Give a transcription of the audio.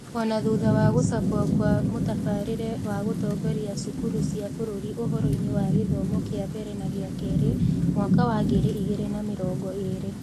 O na thutha wa gũcabwo kwa "Mũtabarĩre wa Gũtongoria Cukuru cia Bũrũri Ũhoro-inĩ wa Gĩthomo kĩa Mbere na gĩa Kerĩ" (Mwaka wa ngiri igĩrĩ na mĩrongo ĩĩrĩ).